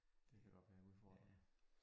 Det kan godt være en udfordring